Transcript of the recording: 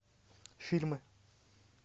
фильмы